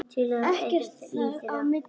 Ekkert þar á milli.